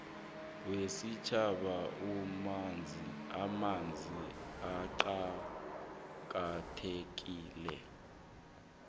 wesitjhaba wamanzi uqakathekile